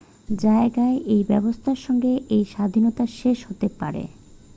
জায়গায় এই ব্যবস্থা সঙ্গে এই স্বাধীনতা শেষ হতে পারে